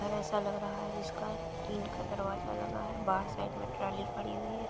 घर ऐसा लग रहा है जिसका टीन का दरवाजा लगा है बाहर साइड में ट्राली खड़ी हुई है।